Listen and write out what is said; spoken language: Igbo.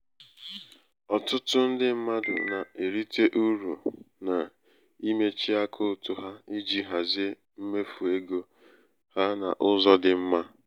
ọtụtụ ndị mmadụ na-erite uru n'imechi akaụtụ ha iji hazie mmefu ego mmefu ego ha n' ụzọ dị mma.